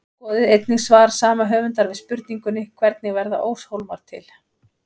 Skoðið einnig svar sama höfundar við spurningunni Hvernig verða óshólmar til?